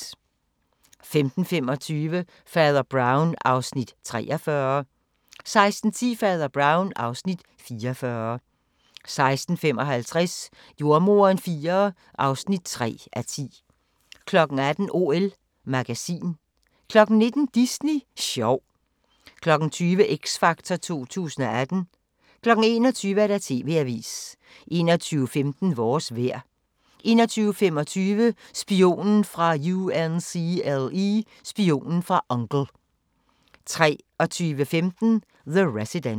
15:25: Fader Brown (Afs. 43) 16:10: Fader Brown (Afs. 44) 16:55: Jordemoderen IV (3:10) 18:00: OL magasin 19:00: Disney sjov 20:00: X Factor 2018 21:00: TV-avisen 21:15: Vores vejr 21:25: Spionen fra U.N.C.L.E. 23:15: The Resident